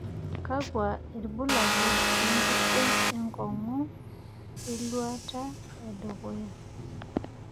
kakua irbulabol le nkerdeny enkong'u eluata e dukuya